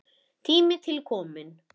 Tími til kominn.